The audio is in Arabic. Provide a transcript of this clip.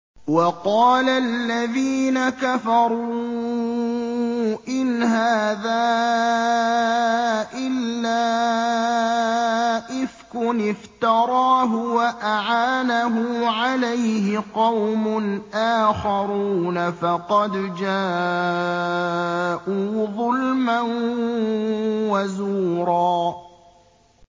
وَقَالَ الَّذِينَ كَفَرُوا إِنْ هَٰذَا إِلَّا إِفْكٌ افْتَرَاهُ وَأَعَانَهُ عَلَيْهِ قَوْمٌ آخَرُونَ ۖ فَقَدْ جَاءُوا ظُلْمًا وَزُورًا